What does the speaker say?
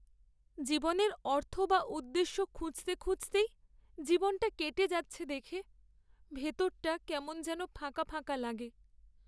জীবনের অর্থ বা উদ্দেশ্য খুঁজতে খুঁজতেই জীবনটা কেটে যাচ্ছে দেখে ভেতরটা কেমন যেন ফাঁকা ফাঁকা লাগে।